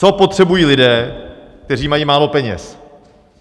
Co potřebují lidé, kteří mají málo peněz?